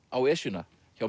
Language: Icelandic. á Esjuna hjá